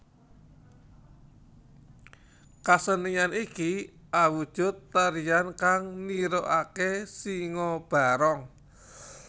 Kasenian iki awujud tarian kang nirokake Singobarong